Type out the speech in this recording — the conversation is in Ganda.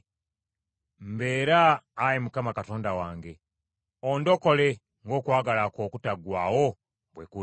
Mbeera, Ayi Mukama Katonda wange! Ondokole ng’okwagala kwo okutaggwaawo bwe kuli.